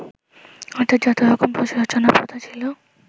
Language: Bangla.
অর্থাৎ যত রকম রচনা-প্রথা ছিল